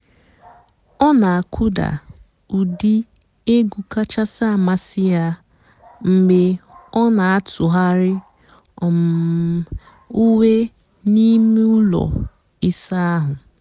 ọ́ nà-àkụ́dà ụ́dị́ ègwú kàchàsị́ àmásị́ yá mg̀bé ọ́ nà-àtụ́ghàrị́ um ùwé n'íìmé ụ́lọ́ ị̀sà àhú́.